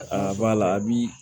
A b'a la a bi